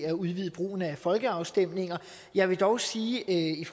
at udvide brugen af folkeafstemninger jeg vil dog sige i